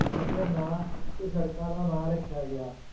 ਉਸਦੇ ਨਾਂ ਉੱਤੇ ਸੜਕਾਂ ਦਾ ਨਾਂ ਰੱਖਿਆ ਗਿਆ।